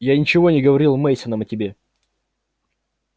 я ничего не говорил мейсонам о тебе